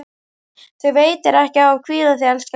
Þér veitir ekki af að hvíla þig, elskan mín.